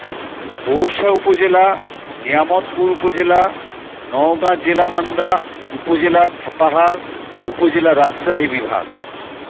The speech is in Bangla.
পোরশা উপজেলা নিয়ামতপুর উপজেলা নওগাঁ জেলা মান্দা উপজেলা সাপাহার উপজেলা রাজশাহী বিভাগ